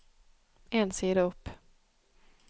En side opp